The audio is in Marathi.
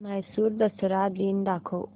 म्हैसूर दसरा दिन दाखव